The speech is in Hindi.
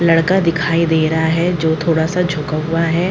लड़का दिखाई दे रहा है जो थोड़ा सा झुका हुआ है ।